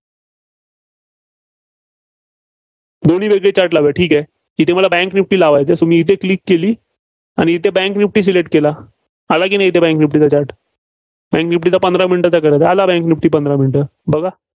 दोन्ही वेगळे Chart लावूया, ठीक आहे. इथं मला bank निफ्टी लावायचा आहे, इथं click केली, आणि इथं bank निफ्टी select केलं. आला की नाही इथं Bank निफ्टीचा chart आणि निफ्टीचा पंधरा minute चा करायचा, आला निफ्टी पंधरा मिनिटं. बघा.